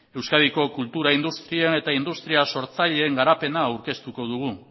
euskadiko kultura industrian eta industria sortzaileen garapena aurkeztuko dugu